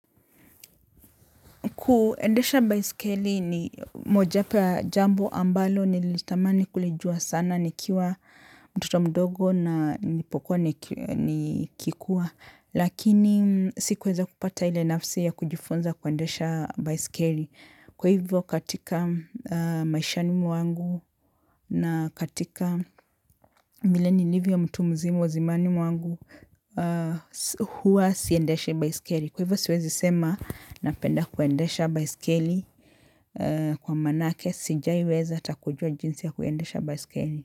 Kuendesha baisikeli ni mojaapo ya jambo ambalo, nilitamani kulijua sana, nikiwa mtoto mdogo na nilipokuwa nikikua, lakini sikuweza kupata ile nafsi ya kujifunza kuendesha baisikeli. Kwa hivyo katika maishani mwangu na katika milenilivyo mtu mzima wa zimani mwangu, huwa siendeshii baisikeli. Kwa hivyo siwezi sema napenda kuendesha baiskeli kwa manake sijaiweza takujua jinsi ya kuendesha baiskeli.